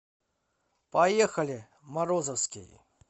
поехали морозовский